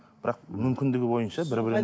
бірақ мүмкіндігі бойынша бір бірін